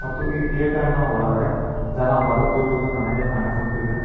ಈ ಥಿಯೇಟರ್ನ ಒಳಗಡೆ ಜನ ಬರುತ್ತಿರುವುದು ನನಗೆ ಕಾಣಿಸುತ್ತಿದೆ.